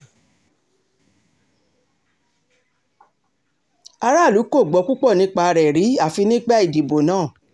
aráàlú kò gbọ́ púpọ̀ nípa rẹ̀ rí àfi nígbà ìdìbò náà